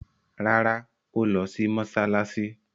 Rárá, ó lọ sí mọsálásí